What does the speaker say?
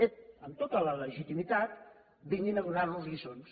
ep amb tota la legitimitat vinguin a donar nos lliçons